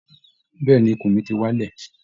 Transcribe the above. Bẹ́ẹ̀ ni, ikùn mi ti wálẹ̀